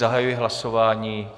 Zahajuji hlasování.